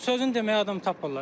Sözü deməyə adam tapmırlar.